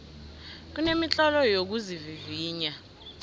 kunemitlolo yokuzivivinya